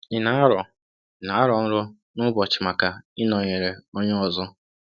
Ị na-arọ Ị na-arọ nrọ um n’ụbọchị maka ịnọnyere onye ọzọ?